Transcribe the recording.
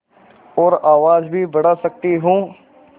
और आवाज़ भी बढ़ा सकती हूँ